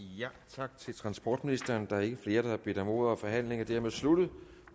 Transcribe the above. tak til transportministeren der er ikke flere der har bedt om ordet og forhandlingen er dermed sluttet